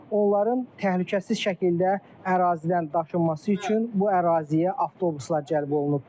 Onların təhlükəsiz şəkildə ərazidən daşınması üçün bu əraziyə avtobuslar cəlb olunub.